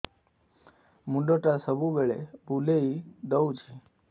ମୁଣ୍ଡଟା ସବୁବେଳେ ବୁଲେଇ ଦଉଛି